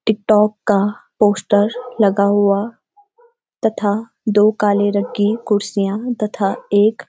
एक डॉग का पोस्‍टर लगा हुआ तथा दो काले रंग की कुर्सियां तथा एक --